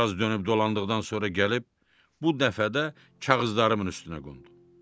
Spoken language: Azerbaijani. Bir az dönüb dolandıqdan sonra gəlib bu dəfə də kağızlarımın üstünə qondu.